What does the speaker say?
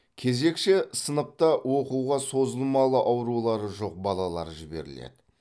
кезекші сыныпта оқуға созылмалы аурулары жоқ балалар жіберіледі